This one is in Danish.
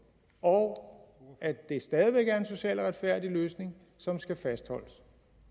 og at det stadig væk er en social og retfærdig løsning som skal fastholdes